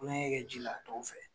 Kulonkɛ kɛ ji la tɔw fɛ.